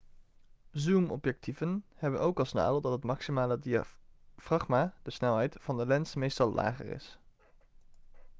zoomobjectieven hebben ook als nadeel dat het maximale diafragma de snelheid van de lens meestal lager is